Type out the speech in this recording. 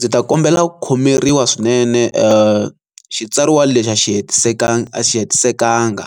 ni ta kombela ku khomeriwa swinene xitsariwa lexi a xi hetisekanga.